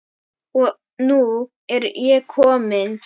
Og nú er ég komin!